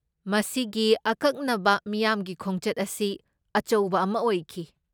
ꯃꯁꯤꯒꯤ ꯑꯀꯛꯅꯕ ꯃꯤꯌꯥꯝꯒꯤ ꯈꯣꯡꯆꯠ ꯑꯁꯤ ꯑꯆꯧꯕ ꯑꯃ ꯑꯣꯏꯈꯤ ꯫